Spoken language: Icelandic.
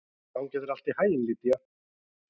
Gangi þér allt í haginn, Lýdía.